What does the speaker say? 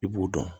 I b'u dɔn